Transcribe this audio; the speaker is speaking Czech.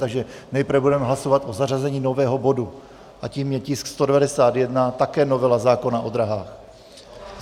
Takže nejprve budeme hlasovat o zařazení nového bodu a tím je tisk 191, také novela zákona o dráhách.